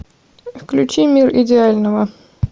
включи мир идеального